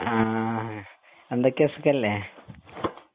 ആഹ് എന്തൊക്കെ സുഖല്ലേ